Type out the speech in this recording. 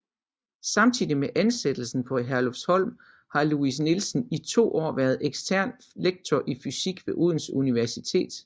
Samtidig med ansættelsen på Herlufsholm har Louis Nielsen i 2 år været ekstern lektor i fysik ved Odense Universitet